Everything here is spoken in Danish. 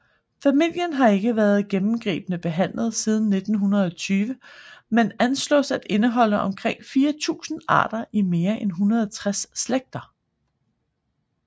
Familien har ikke været gennemgribende behandlet siden 1920 men anslås at indeholde omkring 4000 arter i mere end 160 slægter